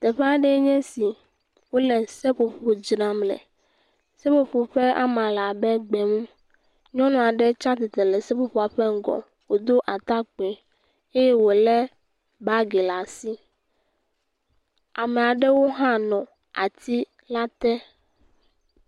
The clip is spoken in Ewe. Teƒe aɖee nye si wple seƒoƒo dzram le, seƒoƒo ƒe ama le abe gbe mu nyɔnu aɖe tsi atsitre le seƒoƒo ƒe ŋgɔ wòdo atakpui eye wòlé bagi ɖe asi, ame aɖewo hã nɔ ati la te.